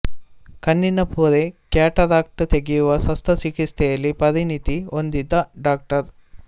ಕಣ್ಣಿನ ಪೊರೆ ಕ್ಯಟರಾಕ್ಟ್ ತೆಗೆಯುವ ಶಸ್ತ್ರ ಚಿಕಿತ್ಸೆಯಲ್ಲಿ ಪರಿಣಿತಿ ಹೊಂದಿದ್ದ ಡಾ